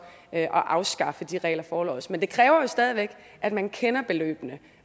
at afskaffe de regler forlods men det kræver jo stadig væk at man kender beløbene